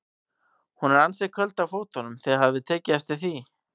Hún er ansi köld á fótunum, þið hafið tekið eftir því?